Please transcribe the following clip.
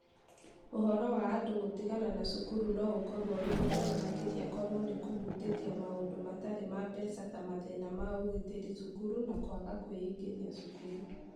Ũhoro wa andũ gũtigana na cukuru no ũkorũo ũrĩ mũnene makĩria korũo nĩ kũhutĩtie maũndũ matarĩ ma mbeca ta mathĩna ma ũgitĩri cukuru na kwaga kwĩingĩria cukuru.